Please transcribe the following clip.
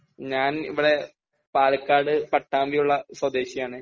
ഞാൻ ഇവിടെ പാലക്കാട് പട്ടാമ്പി ഉള്ള സ്വദേശിയാണ്